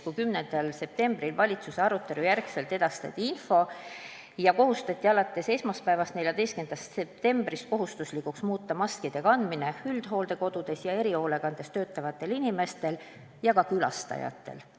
10. septembril, pärast valitsuse arutelu, edastati info ja alates esmaspäevast, 14. septembrist muudeti kohustuslikuks maskide kandmine üldhooldekodudes ja erihoolekandes töötavatel inimestel ja ka nende asutuste külastajatel.